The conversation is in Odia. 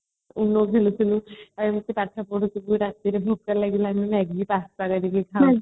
ono ଖେଳୁଥିଲୁ ଆଉ ପାଠ ପଢୁଥିଲୁ ରାତିରେ ଭୋକ ଲାଗିଲେ ଆମେ maggie pasta କରିକି ଖାଉଥିଲୁ